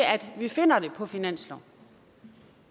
at vi finder det på finansloven